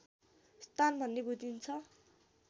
स्थान भन्ने बुझिन्छ